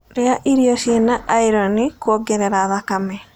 Rĩa irio ciĩna iron kuongerera thakame